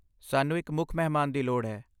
ਸਾਨੂੰ ਇੱਕ ਮੁੱਖ ਮਹਿਮਾਨ ਦੀ ਲੋੜ ਹੈ।